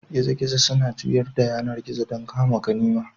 Gizo-gizo suna juyar da yanar gizo don kama ganima.